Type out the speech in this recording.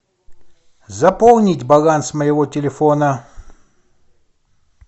заполнить баланс моего телефона